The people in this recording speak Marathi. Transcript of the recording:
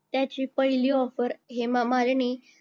त्याची पहिली offer हेमामालिनी